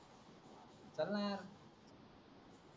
चल ना यार